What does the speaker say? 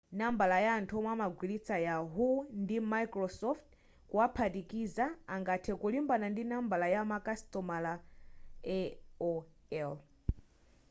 nambala ya anthu womwe amagwilitsa yahoo ndi microsoft kuwaphatikiza angathe kulimbana ndi nambala ya makasitomala aol